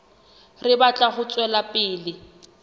re batla ho tswela pele